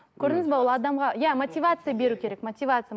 көрдіңіз бе ол адамға иә мотивация беру керек мотивация